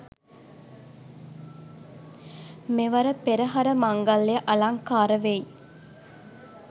මෙවර පෙරහර මංගල්‍යය අලංකාර වෙයි.